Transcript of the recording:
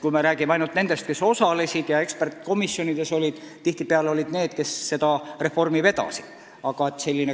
Kui me räägime ainult nendest, kes osalesid ja eksperdikomisjonides olid, siis tihtipeale olid need inimesed, kes seda reformi vedasid.